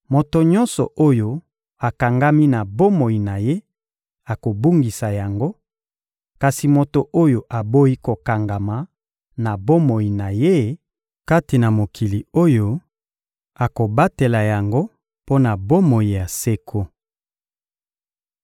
Moto nyonso oyo akangami na bomoi na ye akobungisa yango; kasi moto oyo aboyi kokangama na bomoi na ye, kati na mokili oyo, akobatela yango mpo na bomoi ya seko.